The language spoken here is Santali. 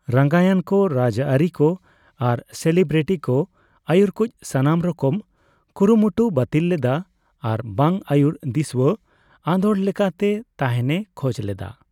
ᱨᱟᱝᱜᱟᱭᱟᱱ ᱠᱚ ᱨᱟᱡᱽᱟᱹᱨᱤ ᱠᱚ ᱟᱨ ᱥᱮᱞᱤᱵᱨᱤᱴᱤᱠᱚ ᱟᱹᱭᱩᱨ ᱠᱩᱪ ᱥᱟᱱᱟᱢ ᱨᱚᱠᱚᱢ ᱠᱩᱨᱩᱢᱩᱴᱩ ᱵᱟᱹᱛᱤᱞ ᱞᱮᱫᱟ ᱟᱨᱵᱟᱝ ᱟᱹᱭᱩᱨ ᱫᱤᱥᱣᱟᱹ ᱟᱸᱫᱳᱲ ᱞᱮᱠᱟᱛᱮ ᱛᱟᱦᱮᱱᱮ ᱠᱷᱚᱡ ᱞᱮᱫᱟ ᱾